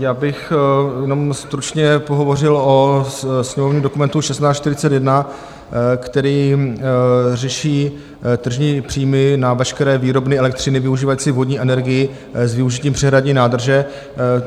Já bych jenom stručně pohovořil o sněmovním dokumentu 1641, který řeší tržní příjmy na veškeré výrobny elektřiny využívající vodní energii s využitím přehradní nádrže.